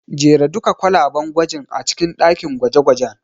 Jera duka kwalaben gwajin a cikin ɗakin gwaje-gwajen.